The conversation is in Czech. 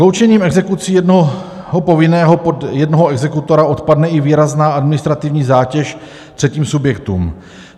Sloučením exekucí jednoho povinného pod jednoho exekutora odpadne i výrazná administrativní zátěž třetím subjektům.